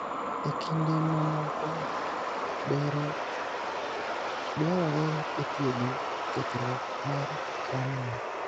E kinde mamoko, bero dwarore e thiedho kethruok mar Cranial.